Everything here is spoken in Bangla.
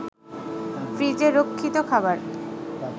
ফ্রিজে রক্ষিত খাবার